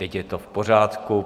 Teď je to v pořádku.